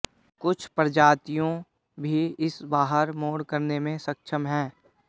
कुछ प्रजातियों भी इसे बाहर मोड़ करने में सक्षम हैं